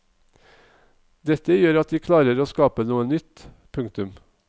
Dette gjør at de klarer å skape noe nytt. punktum